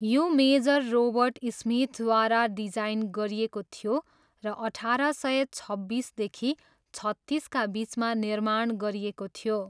यो major Robert स्मिथद्वारा design गरिएको थियो र अठार सय छब्बिसदेखि छत्तिसका बिचमा निर्माण गरिएको थियो।